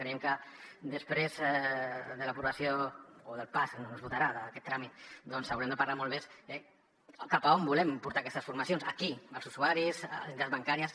creiem que després de l’aprovació o del pas en què es votarà aquest tràmit doncs haurem de parlar molt més de cap a on volem portar aquestes formacions a qui als usuaris a les entitats bancàries